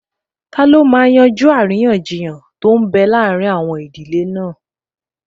Taló máa yanjú àríyànjiyàn tó n bẹ láàrin àwọn ìdílé náà?